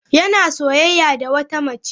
Yana soyayya da wata mace.